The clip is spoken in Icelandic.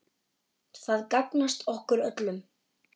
Það gagnast okkur öllum.